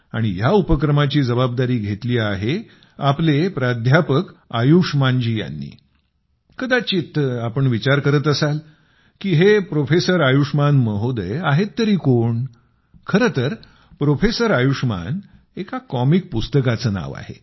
आणि या उपक्रमाची जबाबदारी घेतली आहे आपले प्राध्यापक आयुष्मान जी यांनी कदाचित तुम्ही विचार करत असाल की हे प्रोफेसर आयुष्मान महोदय आहेत तरी कोण तर प्रोफेसर आयुष्मान एका कॉमिक पुस्तकाचं नाव आहे